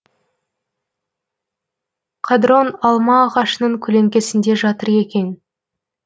қадрон алма ағашының көлеңкесінде жатыр екен